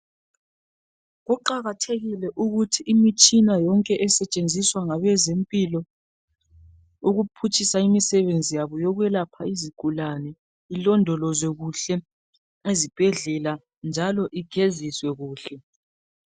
Kuqakathekile ukuthi imitshina yonke esetshenziswa ngabezempilo ukuphutshisa imisebenzi yabo yokwelapha izigulane ilondolozwe kuhle ezibhedlela njalo igeziswe kuhle.